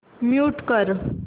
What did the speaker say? mute कर